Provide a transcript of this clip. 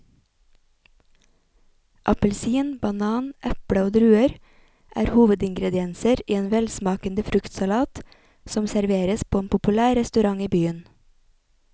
Appelsin, banan, eple og druer er hovedingredienser i en velsmakende fruktsalat som serveres på en populær restaurant i byen.